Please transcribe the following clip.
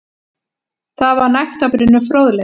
Þar var nægtabrunnur fróðleiks.